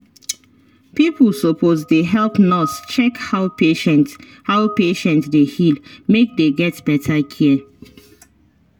pipo suppose dey help nurse check how patient how patient dey heal make dey get better care.